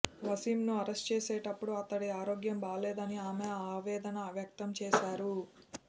వసీంను arrest చేసేప్పుడు అతడి ఆరోగ్యం బాగోలేదని ఆమె ఆవేదన వ్యక్తం చేశారు